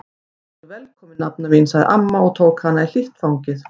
Vertu velkomin nafna mín sagði amma og tók hana í hlýtt fangið.